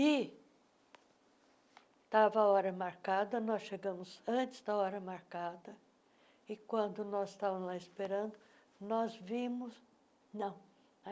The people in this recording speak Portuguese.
E estava a hora marcada, nós chegamos antes da hora marcada, e quando nós estávamos lá esperando, nós vimos... Não.